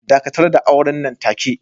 Dakatar da auren nan take.